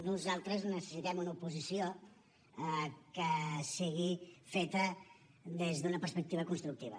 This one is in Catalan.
nosaltres necessitem una oposició que sigui feta des d’una perspectiva constructiva